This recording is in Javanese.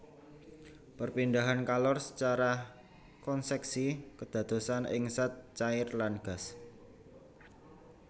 Perpindahan kalor secara konceksi kedadosan ing zat cair lan gas